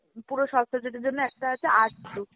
পুরো সব subject এর জন্য একটা আছে arts group।